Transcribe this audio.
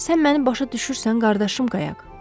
Sən məni başa düşürsən qardaşım qayaq?